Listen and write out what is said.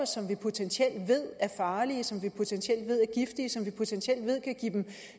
som vi potentielt ved er farlige som vi potentielt ved er giftige som vi potentielt ved kan give dem